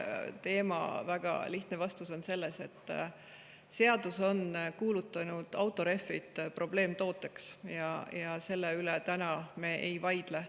Väga lihtne vastus on see, et seadus on kuulutanud autorehvid probleemtooteks, ja selle üle me täna ei vaidle.